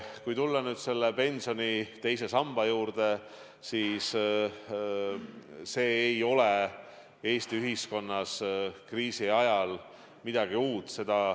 Kui tulla pensioni teise samba juurde, siis see ei ole Eesti ühiskonnas kriisi ajal midagi uut.